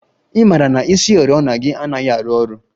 I mara na isioriọna gị anaghị arụ ọrụ?